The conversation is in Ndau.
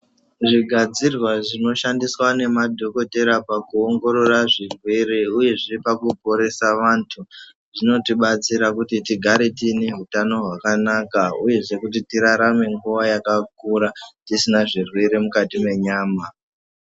Zvigadzirwa zvinoshandiswa nemadhogodheya pakuongorora zvirwere uyezve pakuporesa vantu zvinotidetsera pakuti tigare tiine hutano hwakanaka uyehe kuti tirarame kwenguva yakakura tisina zvirwere mukati menyama.